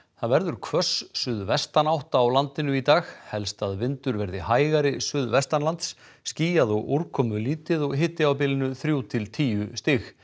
það verður hvöss suðvestanátt á landinu í dag helst að vindur verði hægari suðvestanlands skýjað og úrkomlítið og hiti á bilinu þrjú til tíu stig